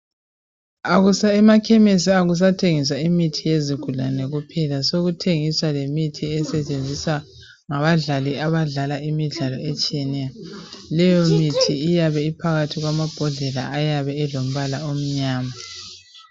Emakhemesi akusathengiswa imithi yezigulane kuphela, sekuthengiswa lemithi esetshenziswa ngabadlali abadlala imidlalo etshiyeneyo. Leyomithi iyabe iphakathi kwamabhodlela ayabe elombala omnyama.